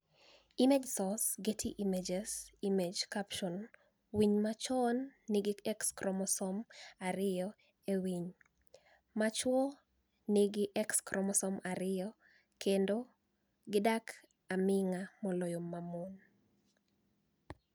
Image source, Getty Images Image captioni Winiy machwo niigi X chromosome ariyo E winiy, machwo niigi X chromosome ariyo kenido gidak aminig'a moloyo moni.